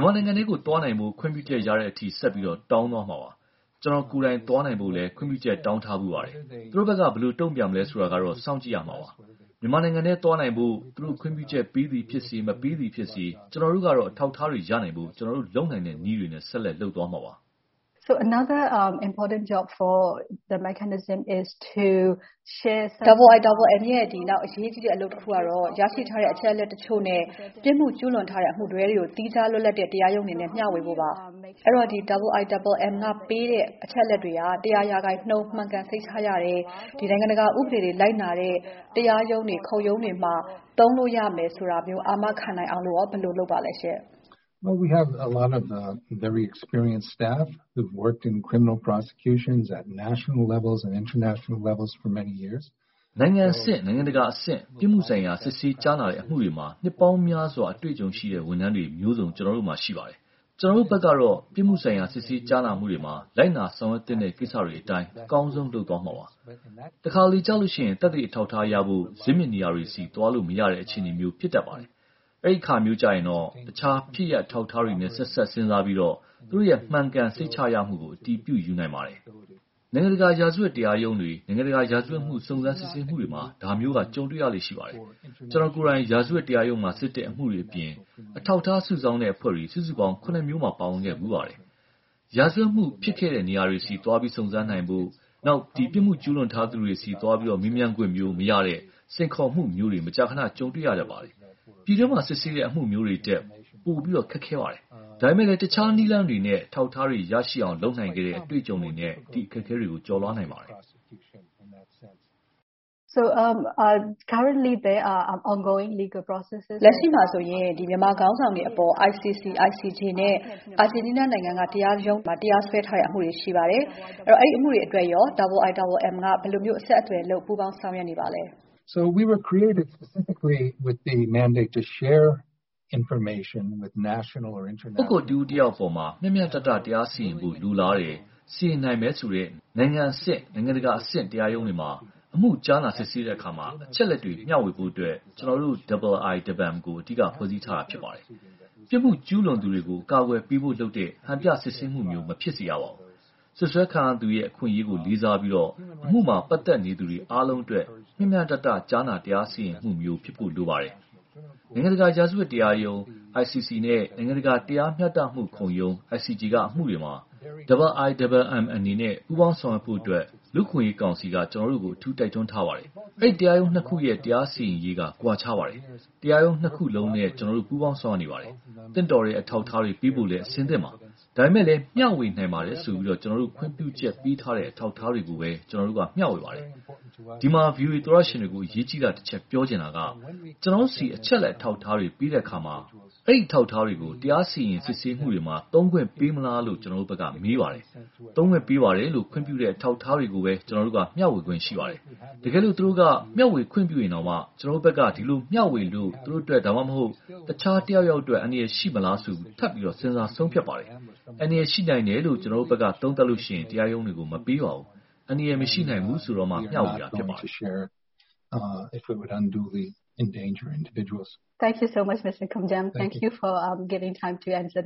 န်မာနိုင်ငံထဲ သွားနိုင်ဖို့ ခွင့်ပြုချက်ရတဲ့အထိ ဆက်ပြီးတောင်းသွားမှာပါ။ ကျွန်တော်ကိုယ်တိုင် သွားနိုင်ဖို့လည်း ခွင့်ပြုချက် တောင်းထားဖူးပါတယ်။ သူတို့ဘက်က ဘယ်လို တုံ့ပြန်မယ်ဆိုတာကတော့ စောင့်ကြည့်ရမှာပါ။ မြန်မာနိုင်ငံထဲသွားနိုင်ဖို့ သူတို့ ခွင့်ပြုချက်ပေးသည်ဖြစ်စေ မပေးသည်ဖြစ်စေ ကျွန်တော်တို့ကတော့ အထောက်အထားတွေ ရနိုင်ဖို့ ကျွန်တော်တို့ လုပ်နိုင်တဲ့နည်းတွေနဲ့ ဆက်လက်လုပ်သွားမှာပါ။ မေး ။ ။ IIMM ရဲ့ နောက်အရေးကြီးတဲ့ အလုပ်တခုက ရရှိထားတဲ့ အချက်အလက်တချို့နဲ့ ပြစ်မှုကျူးလွန်ထားတဲ့ အမှုတွဲတွေကို သီးခြားလွတ်လပ်တဲ့ တရားရုံးတွေနဲ့ မျှဝေဖို့ပါ။ အဲတော့ IIMM က ပေးတဲ့ အချက်အလက်တွေဟာ ရာခိုင်နှုန်း မှန်ကန်စိတ်ချရတယ်။ နိုင်ငံတကာ ဥပဒေတွေလိုက်နာတဲ့ တရားရုံးတွေ ခုံရုံးတွေမှာ သုံးနိုင်မယ်လို့ ဘယ်လို အာမခံနိုင်အောင် ဘယ်လိုလုပ်ပါလဲ။ ဖြေ ။ ။ နိုင်ငံအဆင့်၊ နိုင်ငံတကာအဆင့် ပြစ်မှုဆိုင်ရာ စစ်ဆေးကြားနာတဲ့ အမှုတွေမှာ နှစ်ပေါင်းများစွာ အတေ့ွအကြုံရှိတဲ့ ဝန်ထမ်းတွေမျိုးစုံ ကျွန်တော်တို့မှာ ရှိပါတယ်။ ကျွန်တော်တို့ဘက်ကတော့ ပြစ်မှုဆိုင်ရာ စစ်ဆေးကြားနာမှုတွေမှာ လိုက်နာဆောင်ရွက်သင့်တဲ့ ကိစ္စတွေအတိုင်း အကောင်းဆုံးလုပ်သွားမှာပါ။ တခါတလေကျလို့ရှိရင် သက်သေအထောက်အထားရဖို့ ဇစ်မြစ်နေရာတွေဆီ သွားလို့မရတဲ့ အခြေအနေမျိုး ဖြစ်တတ်ပါတယ်။ အဲဒီအခါမျိုးကျရင် တခြားဖြစ်ရပ်အထောက်အထားတွေနဲ့ ဆက်စပ်စဉ်းစားပြီးတော့ သူ့ရဲ့ မှန်ကန်စိတ်ချရမှုကို အတည်ပြုယူနိုင်ပါတယ်။ နိုင်ငံတကာ ရာဇဝတ်တရားရုံးတွေ၊ နိုင်ငံတကာ ရာဇဝတ်မှု စုံစမ်းစစ်ဆေးမှုတွေမှာ ဒါမျိုးက ကြုံတွေ့ရလေ့ ရှိပါတယ်။ ကျွန်တော်ကိုယ်တိုင် ရာဇဝတ်တရားရုံးမှာစစ်တဲ့ အမှုတွေအပြင် အထောက်အထား စုဆောင်းတဲ့ အဖွဲ့တွေ စုစုပေါင်း မျိုးမှာ ပါဝင်ခဲ့ဖူးပါတယ်။ ရာဇဝတ်မှု ဖြစ်ခဲ့တဲ့နေရာတွေဆီ သွားပြီးစုံစမ်းနိုင်ဖို့၊ ပြစ်မှုကျူးလွန်ထားသူတွေဆီသွားပြီး၊ မေးမြန်းခွင့်မရတဲ့ စိန်ခေါ်မှုမျိုးတွေ မကြာခဏ ကြုံတွေ့ရတတ်ပါတယ်။ ပြည်တွင်းမှာ စစ်ဆေးတဲ့ အမှုမျိုးတွေထက် ပိုခက်ခဲပါတယ်။ ဒါပေမဲ့လဲ တခြားနည်းလမ်းတွေနဲ့ အထောက်အထားတွေ ရရှိအောင် လုပ်နိုင်ခဲ့တဲ့ အတေ့ွအကြုံတွေနဲ့ ဒီအခက်အခဲတွေကို ကျော်လွှားနိုင်ပါတယ်။ မေး ။ ။ လက်ရှိမှာဆိုရင် မြန်မာခေါင်းဆောင်တွေအပေါ် ICC, ICJ နဲ့ အာဂျင်တီးနားနိုင်ငံက တရားရုံးတွေမှာ တရားစွဲထားတဲ့ အမှုတွေ ရှိပါတယ်။ အဲဒီအမှုတွေအတွက်ရော IIMM က ဘယ်လို အဆက်အသွယ်လုပ် ပူးပေါင်းဆောင်ရွက်နေပါသလဲ။ ဖြေ ။ ။ ပုဂ္ဂိုလ်တဦးတယောက်အပေါ် မျှမျှတတ တရားစီရင်ဖို့ လိုလားတယ်၊ စီရင်နိုင်မယ်ဆိုတဲ့ နိုင်ငံအဆင့် နိုင်ငံတကာအဆင့် တရားရုံးတွေမှာ အမှုကြားနာစစ်ဆေးတဲ့အခါ အချက်အလက်တွေ မျှဝေဖို့အတွက် ကျွန်တော်တို့ IIMM ကို အဓိက ဖွဲ့စည်းထားတာ ဖြစ်ပါတယ်။ ပြစ်မှုကျူးလွန်သူတွေကို အကာအကွယ် ပေးဖို့လုပ်တဲ့ ဟန်ပြစစ်ဆေးမှုမျိုး မဖြစ်ရဘူး။ စွပ်စွဲခံရသူရဲ့ အခွင့်အရေးကိုလည်း လေးစားပြီး အမှုမှာ ပါတ်သက်နေသူအားလုံးအတွက် မျှမျှတတ ကြားနာ တရားစီရင်မှုမျိုးဖြစ်ဖို့ လိုပါတယ်။ နိုင်ငံတကာ ရာဇဝတ်တရားရုံး ICC နဲ့ နိုင်ငံတကာ တရားမျှတမှုခုံရုံး ICJ က အမှုတွေမှာ IIMM အနေနဲ့ ပူးပေါင်းဆောင်ရွက်ဖို့အတွက် လူ့အခွင့်အရေးကောင်စီက ကျွန်တော်တို့ကို အထူးတိုက်တွန်းထားပါတယ်။ အဲဒီတရားရုံး ခုရဲ့ တရားစီရင်ရေးက ကွာခြားပါတယ်။ တရားရုံး ခုလုံးနဲ့ ကျွန်တော်တို့ ပူးပေါင်းဆောင်ရွက်နေပါတယ်။ သင့်တော်တဲ့ အထောက်အထားတွေ ပေးဖို့လည်း အဆင်သင့်ပါ။ ဒါပေမဲ့ မျှဝေနိုင်ပါတယ်ဆိုပြီး ကျွန်တော်တို့ကို ခွင့်ပြုချက်ပေးထားတဲ့ အထောက်အထားတွေကိုပဲ ကျွန်တော်တို့က မျှဝေပါတယ်။ ဒီမှာ VOA သောတရှင်တွေကို အရေးကြီးတာတချက် ပြောချင်တာက ကျွန်တော်တို့ဆီ အချက်အလက် အထောက်အထားတွေပေးတဲ့အခါ အဲဒီအထောက်အထားတွေကို တရားစီရင်စစ်ဆေးမှုတွေမှာ သုံးခွင့်ပေးမလားလို့ ကျွန်တော်တို့ဘက်က မေးပါတယ်။ သုံးခွင့်ပေးပါတယ်လို့ ခွင့်ပြုတဲ့ အထောက်အထားတွေကိုပဲ ကျွန်တော်တို့က မျှဝေခွင့် ရှိပါတယ်။ တကယ်လို့ သူတို့က မျှဝေခွင့်ပြုရင်တောင် ကျွန်တော်တို့ဘက်က ဒီလိုမျှဝေလို့ သူတို့အတွက် တခြားတယောက်ယောက်အတွက် အန္တရာယ်ရှိမလားဆိုတာ ထပ်ပြီး စဉ်းစားဆုံးဖြတ်ပါတယ်။ အန္တရာယ် ရှိနိုင်တယ်လို့ ကျွန်တော်တို့က သုံးသပ်ရင် တရားရုံးတွေကို မပေးပါဘူး။ အန္တရာယ် မရှိနိုင်ဘူးဆိုတော့မှ မျှဝေတာ ဖြစ်ပါတယ်။ မစုမြတ်မွန် ။ ။ Thank you so much, Mr. Koumjian. Thank you for giving time to answer the